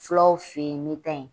Fulaw fen yen n mi ta yen